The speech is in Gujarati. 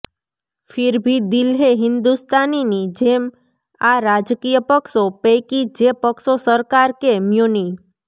ફિર ભી દિલ હૈ હિંદુસ્તાનીની જેમ આ રાજકીય પક્ષો પૈકી જે પક્ષો સરકાર કે મ્યુનિ